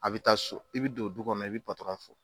A bɛ taa so, i bɛ don du kɔnɔ ,i bɛ patɔrɔn fo.